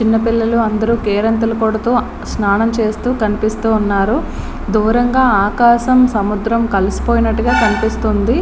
ఇక్కడ పిల్లలు ఉన్నారు. కేరింతలు కొడుతూ స్నానం చేస్తూ కనిపిస్తున్నారు. దూరంగా ఆకాశం సముద్రం కలిసిపోయినట్టుగా కనిపిస్తుంది.